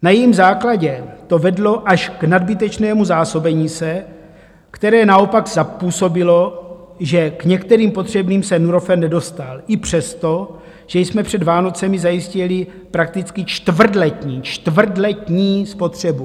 Na jejím základě to vedlo až k nadbytečnému zásobení se, které naopak způsobilo, že k některým potřebným se Nurofen nedostal i přesto, že jsme před Vánocemi zajistili prakticky čtvrtletní - čtvrtletní! - spotřebu.